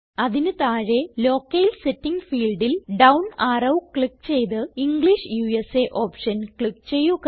അതിന് താഴെ locale setting ഫീൽഡിൽ ഡൌൺ അറോ ക്ലിക്ക് ചെയ്ത് ഇംഗ്ലിഷ് ഉസ ഓപ്ഷൻ ക്ലിക്ക് ചെയ്യുക